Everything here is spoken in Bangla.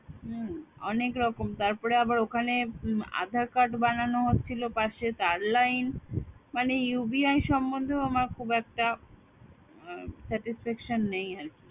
হম অনেক রকম তারপর আবার ওখানে আধার card বানানো হচ্ছিল পাশে তার লাইন মানে UBI সম্বন্ধেও আমার খুব একটা satisfaction নেই আর কি